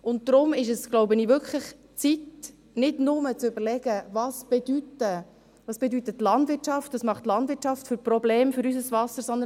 Und daher ist es, glaube ich, wirklich Zeit, nicht nur zu überlegen, was die Landwirtschaft bedeutet, welche Probleme die Landwirtschaft für unser Wasser verursacht, sondern: